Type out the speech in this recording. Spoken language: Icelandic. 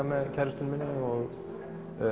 með kærustunni minni og